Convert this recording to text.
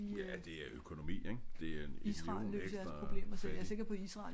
Ja at det er økonomi ik. Det er en million ekstra fattige